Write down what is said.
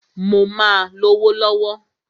Mó máà lówó lọ̀wọ̀.